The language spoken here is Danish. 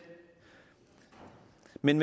men